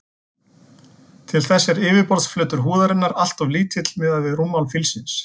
Til þess er yfirborðsflötur húðarinnar alltof lítill miðað við rúmmál fílsins.